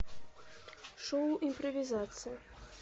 шоу импровизация